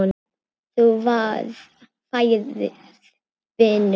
Þú færð vinnu.